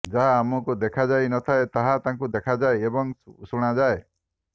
ଯାହା ଆମକୁ ଦେଖାଯାଇ ନ ଥାଏ ତାହା ତାଙ୍କୁ ଦେଖାଯାଏ ଏବଂ ଶୁଣା ଯାଏ